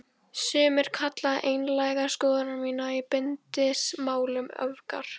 Sumir kalla einlægar skoðanir mínar í bindindismálum öfgar.